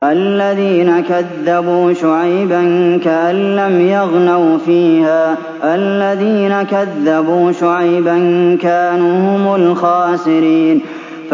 الَّذِينَ كَذَّبُوا شُعَيْبًا كَأَن لَّمْ يَغْنَوْا فِيهَا ۚ الَّذِينَ كَذَّبُوا شُعَيْبًا كَانُوا هُمُ الْخَاسِرِينَ